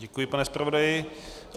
Děkuji, pane zpravodaji.